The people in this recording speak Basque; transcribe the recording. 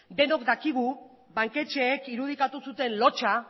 denok dakigu banketxeek irudikatu zuten lotsa